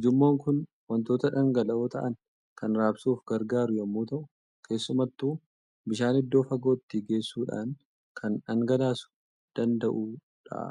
Ujummoon kun waantota dhangala'oo ta'an kan raabsuuf gargaaru yommuu ta'u, keessumattuu bishaan iddoo fagootti geessuudhaan kan dhangalaasuu danda'u dha.